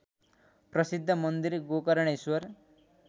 प्रसिद्ध मन्दिर गोकर्णेश्वर